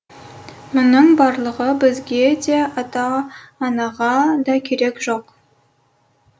мұның барлығы бізге де ата анаға да керек жоқ